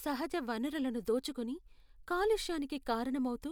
సహజ వనరులను దోచుకుని, కలుష్యానికి కారణం అవుతూ,